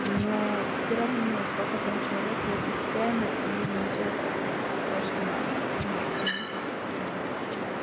но всё равно сколько там человек будет и сцена и внизу это будет очень мало места нам всем вообще